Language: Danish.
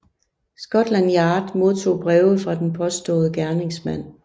Scotland Yard modtog breve fra den påståede gerningsmand